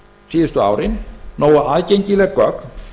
síðustu árin nógu aðgengileg gögn